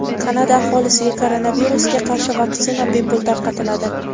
Kanada aholisiga koronavirusga qarshi vaksina bepul tarqatiladi.